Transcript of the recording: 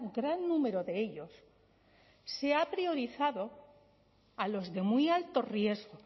gran número de ellos se ha priorizado a los de muy alto riesgo